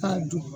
K'a dun